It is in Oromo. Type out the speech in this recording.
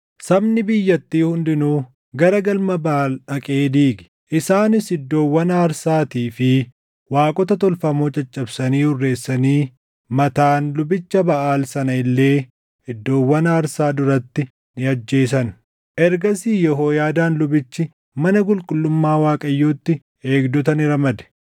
Sabni biyyattii hundinuu gara galma Baʼaal dhaqee diige. Isaanis iddoowwan aarsaatii fi waaqota tolfamoo caccabsanii hurreessanii Mataan lubicha Baʼaal sana illee iddoowwan aarsaa duratti ni ajjeesan. Ergasii Yehooyaadaan lubichi mana qulqullummaa Waaqayyotti eegdota ni ramade.